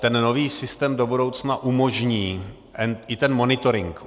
Ten nový systém do budoucna umožní i ten monitoring.